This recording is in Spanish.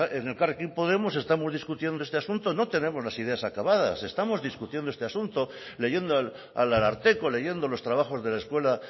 en elkarrekin podemos estamos discutiendo este asunto no tenemos las ideas acabadas estamos discutiendo este asunto leyendo al ararteko leyendo los trabajos de la escuela